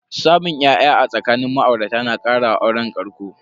Samun ya'ya a tsakanin ma'aurata na kara wa auren ƙarƙo.